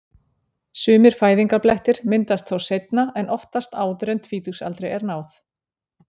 Sumir fæðingarblettir myndast þó seinna en oftast áður en tvítugsaldri er náð.